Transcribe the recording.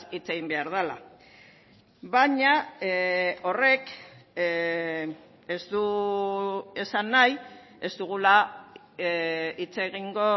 hitz egin behar dela baina horrek ez du esan nahi ez dugula hitz egingo